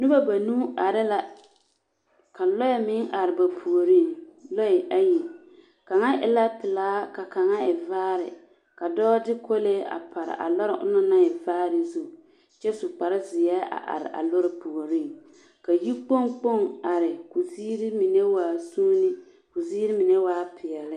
Noba banuu la ka lɔɛ are ba puoriŋ lɔɛ ayi. Kaŋa e la pelaa ka kaŋa e vaare ka dɔɔ de kolee a pare a lɔre onaŋ naŋ e vaare zu Kyɛ su kparre zeɛ a are a lɔre puoriŋ. Ka yi kpoŋ kpoŋ kaŋa are koo ziiri mine waa suuni koo ziiri mine waa peɛle.